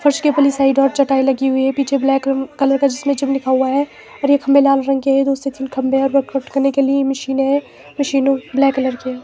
फर्श के पल्ली साइड और चटाई लगी हुई है पीछे ब्लैक क कलर का जिसमें जिम लिखा हुआ है और ये खंभे लाल रंग के हैं दो से तीन खंभे हैं वर्कआउट करने के लिए मशीन हैं मशीने मशीनों ब्लैक कलर की है।